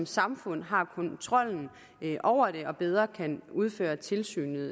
samfundet har kontrollen over det og bedre kan udføre tilsynet